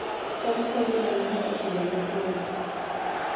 cham konyo ahinya e Pidhoo nyithindo